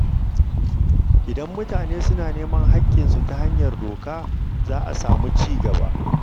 Idan mutane suna neman haƙƙinsu ta hanyar doka, za a samu ci gaba.